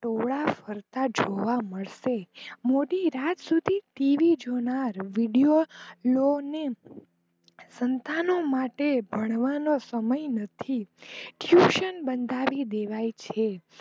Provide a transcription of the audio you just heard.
ટોળા ફરતા જેવા મળશે મોડી રતા સુધી tv જોનારા સંતાનો માટે ભણવા નો સમય નથી tuition બંધાવી દેવાય છે.